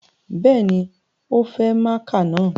Bẹ́ẹ̀ni, o fẹ máaka na